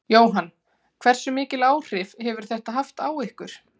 Jóhann: Hversu mikil áhrif hefur þetta haft hjá ykkur?